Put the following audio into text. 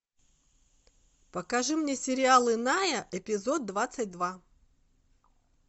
покажи мне сериал иная эпизод двадцать два